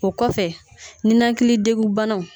O kɔfɛ ninakilidegunbanaw